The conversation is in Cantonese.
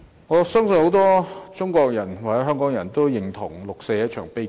我相信很多中國人和香港人也認同六四是一場悲劇。